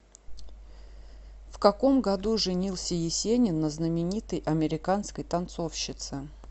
в каком году женился есенин на знаменитой американской танцовщице